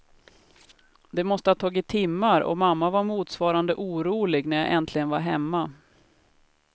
Det måste ha tagit timmar och mamma var motsvarande orolig när jag äntligen var hemma.